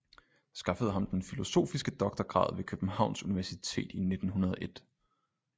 Skaffede ham den filosofiske doktorgrad ved københavns universitet i 1901